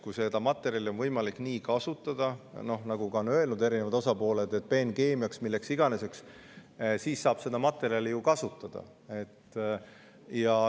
Kui seda materjali on võimalik kasutada, nagu on öelnud eri osapooled, peenkeemiana või milleks iganes, siis saab seda materjali kasutada.